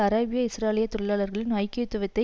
அராபிய இஸ்ரேலிய தொழிலாளர்களின் ஐக்கியத்தை